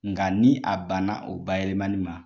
Nka ni a banna o bayɛlɛmali ma .